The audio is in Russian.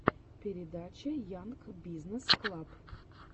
передача янг бизнесс клаб